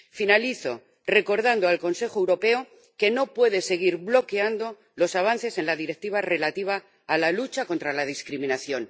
Finalizo recordando al Consejo Europeo que no puede seguir bloqueando los avances en la Directiva relativa a la lucha contra la discriminación.